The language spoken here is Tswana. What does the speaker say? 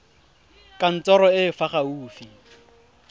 kantorong e e fa gaufi